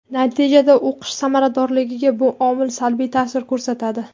Natijada o‘qish samaradorligiga bu omil salbiy ta’sir ko‘rsatadi.